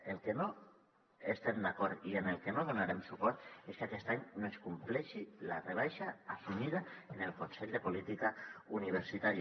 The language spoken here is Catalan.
en el que no estem d’acord i al que no donarem suport és que aquest any no es compleixi la rebaixa assumida en el consell de política universitària